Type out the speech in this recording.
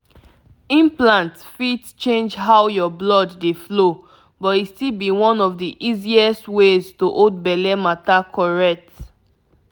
implant fit change how your blood dey flow but e still be one of the easiest ways to hold belle matter correct.